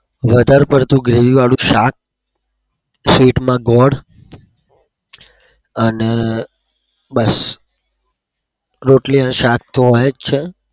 વધાર પડતું gravy વાળું શાક sweet માં ગોળ અને બસ